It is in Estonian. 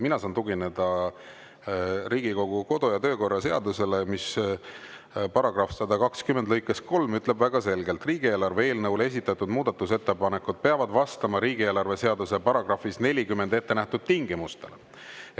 Mina saan tugineda Riigikogu kodu‑ ja töökorra seadusele, mis § 120 lõikes 3 ütleb väga selgelt: "Riigieelarve eelnõule esitatud muudatusettepanekud peavad vastama riigieelarve seaduse §-s 40 ettenähtud tingimustele.